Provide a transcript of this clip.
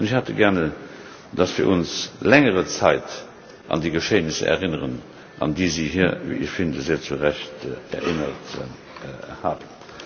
Ich hätte gerne, dass wir uns längere Zeit an die Geschehnisse erinnern, an die Sie hier wie ich finde sehr zu Recht erinnert haben.